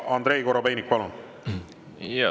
Andrei Korobeinik, palun!